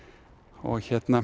og